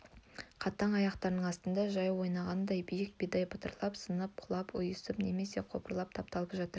қатаң аяқтарының астында жау ойнағында биік бидай бытырлап сынып құлап ұйысып немесе қопарылып тапталып жатыр